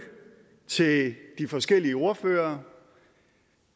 til de forskellige ordførere